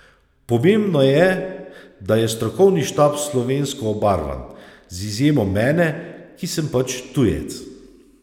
Pomembno je, da je strokovni štab slovensko obarvan, z izjemo mene, ki sem pač tujec.